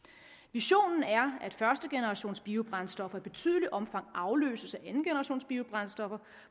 visionen er at førstegenerationsbiobrændstoffer i betydeligt omfang afløses af andengenerationsbiobrændstoffer